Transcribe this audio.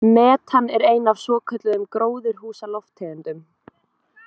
Metan er ein af svokölluðum gróðurhúsalofttegundum.